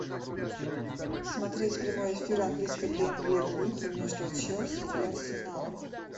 смотреть прямой эфир английской премьер лиги между челси и арсеналом